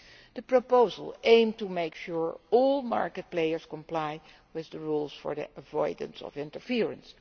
The proposal aims to make sure that all market players comply with the rules for the avoidance of interference.